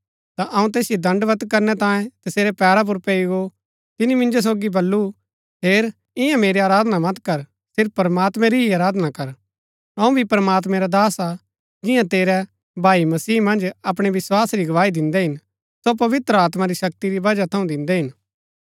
ता अऊँ तैसिओ दण्डवत् करणै तांयें तसेरै पैरा पुर पैई गो तिनी मिन्जो सोगी बल्लू हेर इन्या मेरी आराधना मत कर सिर्फ प्रमात्मैं री ही आराधना कर अऊँ भी प्रमात्मैं रा दास हा जिन्या तेरै भाई मसीह मन्ज अपणै विस्वास री गवाही दिन्दै हिन सो पवित्र आत्मा री शक्ति री वजह थऊँ दिन्दै हिन